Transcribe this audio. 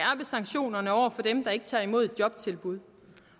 sanktionerne over for dem der ikke tager imod et jobtilbud